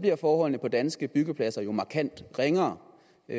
bliver forholdene på danske byggepladser jo markant ringere